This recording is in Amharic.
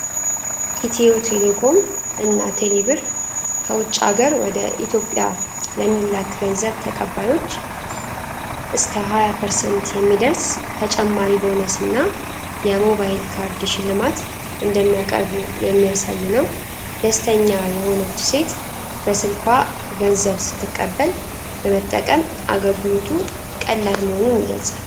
ኢትዮ ቴሌኮም እና ቴሌብር ከውጭ ሀገር ወደ ኢትዮጵያ ለሚላክ ገንዘብ ተቀባዮች እስከ 20% የሚደርስ ተጨማሪ ቦነስ እና የሞባይል ካርድ ሽልማት እንደሚያቀርቡ የሚያሳይ ነው። ደስተኛ የሆነች ሴት በስልክዋ ገንዘብ ስትቀበል በመጠቀም አገልግሎቱ ቀላል መሆኑን ይገልጻል።